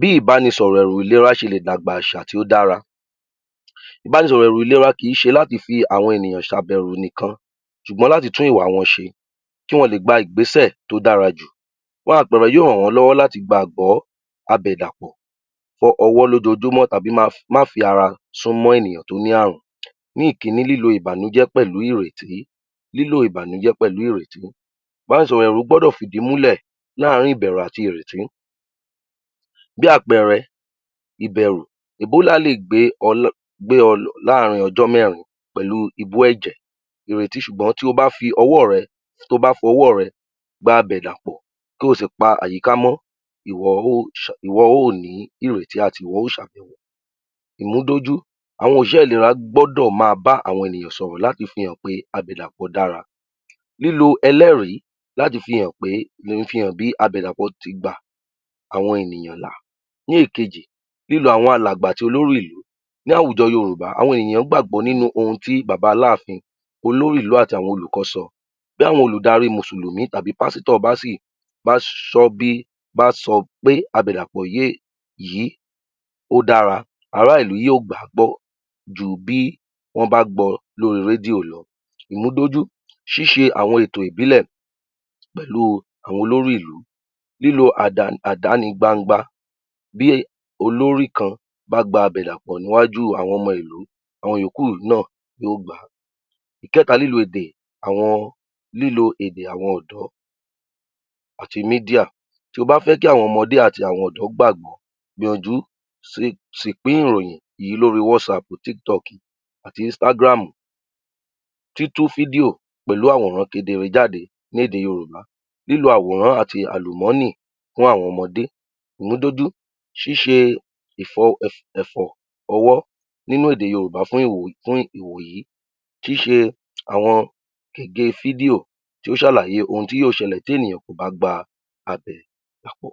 Bí ìbánisọ̀rọ̀ ẹ̀rù ìlera ṣe lè dàgbà àṣà tí ó dára, ìbanísọ̀rọ̀ ẹ̀rù ìlera kì í ṣe láti fi àwọn ènìyàn ṣabẹwò nìkan ṣùgbọ́n láti tún ìwà wọn ṣe kí wọ́n le gba ìgbésẹ̀ tí ó dára jù, fún àpẹẹrẹ, yóò ràn wọ́n lọ́wọ́ láti gbàgbọ àbẹ̀dàpọ̀ ọwọ́ lójoojúmọ́ tàbí má fi ara súnmọ́ ènìyàn tó ní àrùn. Ní ìkínní, lílo ìbànújẹ́ pẹ̀lú ìrètí, lílo ìbànújẹ́ pẹ̀lú ìrètí, ìbánisọ̀rọ̀ ẹ̀rù gbọ́dọ̀ fìdí múlẹ̀ láàrin ìbẹ̀rù àti ìrètí, bí àpẹẹrẹ ìbẹ̀rù, (Ebola) lè gbé ọ láàrin ọjọ́ mẹ́rin pẹ̀lú ibú ẹ̀jẹ̀ ìrètí ṣùgbọ́n to bá ń fi ọwọ́ rẹ, to bá fọwọ́ rẹ gbá àbẹ̀dàpọ̀ tí o sì pa àyíká mọ́, ìwọ ó, ìwọ ó ní ìrètí àti. Ìmúdójú, àwọn òṣìṣé ìlera gbọ́dọ̀ ma bá àwọn ènìyàn sọ̀rọ̀ láti fi hàn pé àbẹ̀dàpọ̀ dára. Lílo ẹlẹ́rìí láti fi hàn pé, fi hàn bí àbẹ̀dàpọ̀ ti gba àwọn ènìyàn là. Ní èkejì, lílo àwọn alàgbà àti olórí ìlú, ní àwùjọ Yorùbá àwọn èyàn gbàgbọ́ nínú ohun tí Bàbá Aláàfin, Olórí ìlú àti àwọn Olùkọ́ sọ, bí àwọn Olùdarí mùsùlùmí tàbí Pásítọ̀ bá sì, bá sọ́ bí, bá sọ pé àbẹ̀dàpọ̀ yí ó dára, ará ìlú yóò gbà á gbọ́ ju bí wọ́n bá gbọ lórí rédíò lọ. Ìmúdọ́jú, ṣíṣe àwọn ètò ìbílẹ̀ pẹ̀lu àwọn olórí ìlú, lílo àdánigbangba, bí olórí kan bá gba bẹ̀ dàpọ̀ níwájú àwọn ọmọ ìlú àwọn ìyókù náà yóò gbà. Ìkẹ̀ta, lílo èdè àwọn, lílo èdè àwọn ọ̀dọ́ àti (Media), to bá fẹ́ kí àwọn ọmọdé àti àwọn ọ̀dọ́ gbàgbọ́, gbìyànjú sì pín ìròyìn yí lóri (Whatsapp, TikTok àti Instagram), títú fídíò pẹ̀lú àwòrán kedere jáde lédè Yorùbá. Lílo àwòràn àti àlùmọ́nì fún àwọn ọmọdé, ìmúdójú, ṣíṣe ẹ̀fọ̀ ọwọ́ nínú èdè Yorùbá fún ìwòyí kì í ṣe àwọn gège fídíò tí ó ń ṣàlàyè ohun tí yóò ṣẹlẹ̀ tí ènìyàn kò bá gba àbẹ̀dàpọ̀.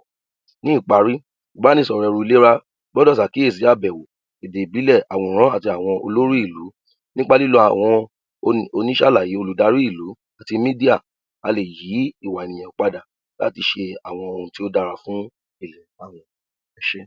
Ní ìparí, ìbánisọ̀rọ̀ ẹ̀rù ìlera gbọ́dọ̀ ṣàkíyèsí àbẹ̀wò, èdè ìbílẹ̀ àti àwòrán àti àwọn olóri ìlú nípa lílo àwọn oníṣàlàyé, olùdarí ìlú àti (Media), a lè yí ìwà ènìyàn padà láti ṣe àwọn ohun tí ó dára fún àwùjọ. Ẹ ṣé.